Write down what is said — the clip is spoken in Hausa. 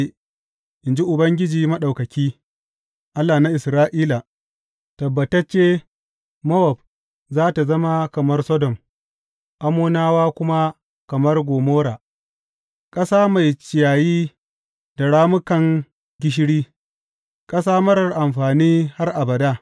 in ji Ubangiji Maɗaukaki, Allah na Isra’ila, tabbatacce Mowab za tă zama kamar Sodom, Ammonawa kuma kamar Gomorra, ƙasa mai ciyayi da rammukan gishiri, ƙasa marar amfani har abada.